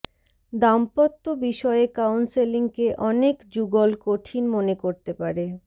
দাম্পত্য বিষয়ে কাউন্সেলিংকে অনেক যুগল কঠিন মনে করতে পারে